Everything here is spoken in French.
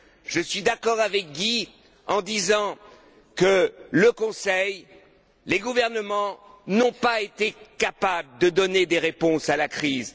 Je suis d'accord avec Guy lorsqu'il dit que le Conseil, les gouvernements, n'ont pas été capables de donner des réponses à la crise.